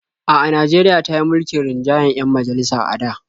A'a, Najeriya ta yi mulkin rinjayen 'yan majalisa a da.